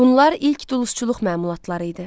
Bunlar ilk duluzçuluq məmulatları idi.